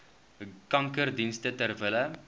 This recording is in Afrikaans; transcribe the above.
kankerdienste ter wille